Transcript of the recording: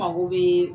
Mago bɛ